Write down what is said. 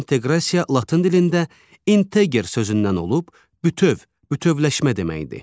İnteqrasiya latın dilində inteqer sözündən olub, bütöv, bütövləşmə deməkdir.